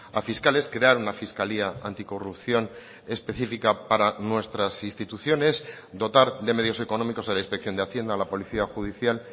a fiscales crear una fiscalía anticorrupción específica para nuestras instituciones dotar de medios económicos a la inspección de hacienda a la policía judicial